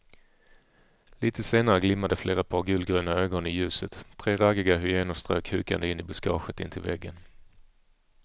Litet senare glimmade flera par gulgröna ögon i ljuset, tre raggiga hyenor strök hukande in i buskaget intill vägen.